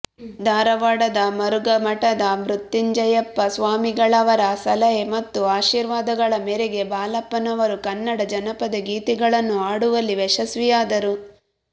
ಧಾರವಾಡದ ಮರುಘಾಮಠದ ಮೃತ್ಯುಂಜಯಪ್ಪ ಸ್ವಾಮಿಗಳವರ ಸಲಹೆ ಮತ್ತು ಆಶೀರ್ವಾದಗಳ ಮೇರೆಗೆ ಬಾಳಪ್ಪನವರು ಕನ್ನಡ ಜನಪದ ಗೀತೆಗಳನ್ನು ಹಾಡುವಲ್ಲಿ ಯಶಸ್ವಿಯಾದರು